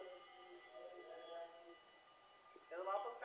त्याचा बापचं